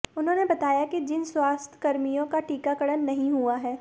उन्होंने बताया कि जिन सभी स्वास्थ्यकर्मियों का टीकाकरण नहीं हुआ है